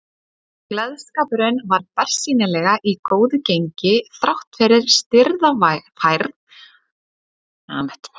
Gleðskapurinn var bersýnilega í góðu gengi þráttfyrir stirða færð og stríðlynd veður.